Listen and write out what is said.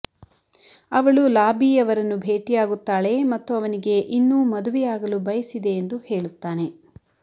ಅವಳು ಲಾಬಿ ಅವರನ್ನು ಭೇಟಿಯಾಗುತ್ತಾಳೆ ಮತ್ತು ಅವನಿಗೆ ಇನ್ನೂ ಮದುವೆಯಾಗಲು ಬಯಸಿದೆ ಎಂದು ಹೇಳುತ್ತಾನೆ